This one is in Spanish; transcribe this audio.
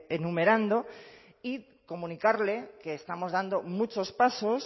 enumerando y comunicarle que estamos dando muchos pasos